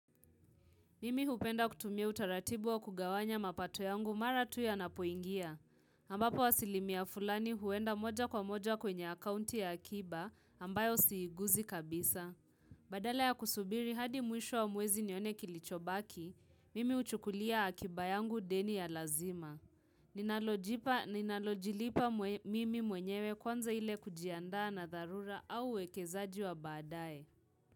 Mimi hupenda kutumia utaratibu wa kugawanya mapato yangu mara tu yanapoingia. Ambapo asilimia fulani huenda moja kwa moja kwenye akaunti ya akiba ambayo siiguzi kabisa. Badala ya kusubiri hadi mwisho wa mwezi nione kilichobaki, mimi huchukulia akiba yangu deni ya lazima. Ninalojipa ninalojilipa mimi mwenyewe kwanza ile kujiandaa na dharura au uwekezaji wa baadae.